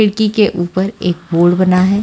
खिड़की के ऊपर एक बोर्ड बना है।